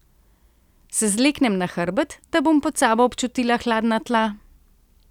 Se zleknem na hrbet, da bom pod sabo občutila hladna tla?